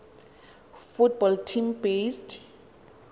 football team based